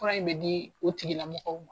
Fura in bɛ di u tigilamɔgɔw ma.